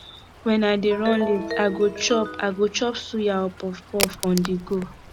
when i dey run late i go chop i go chop suya or puffpuff on the go